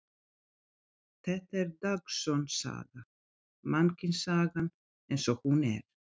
Þetta er dagsönn saga, mannkynssagan eins og hún er.